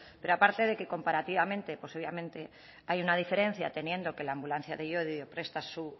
pero aparte de que comparativamente pues obviamente hay una diferencia teniendo que la ambulancia de llodio presta su